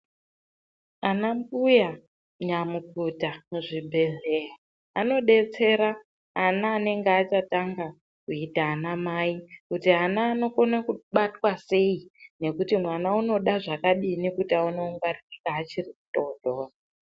Ana mbuya nyamukuta muzvibhedhleya anodetsera ana anenge achatanga kuite ana mai, kuti ana anokone kubatwa sei nekuti mwana unoda zvakadini nekuti aone kungwarirwa achiri mudodori.